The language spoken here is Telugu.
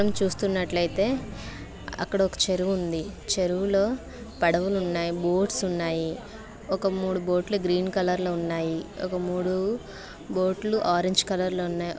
ఇక్కడ చూస్తున్నట్లయితే అక్కడ ఒక చెరువు ఉంది. చెరువులో పడవలు ఉన్నాయి బోట్స్ ఉన్నాయి ఒక మూడు బోట్లు గ్రీన్ కలర్ లో ఉన్నాయి ఒక మూడు బోట్లు ఆరెంజ్ కలర్ లో ఉన్నాయి.